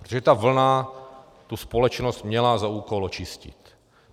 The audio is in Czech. Protože ta vlna tu společnost měla za úkol očistit.